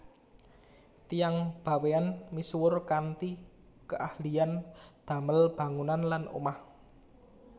Tiyang Bawean misuwur kanthi keahlian damel bangunan lan omah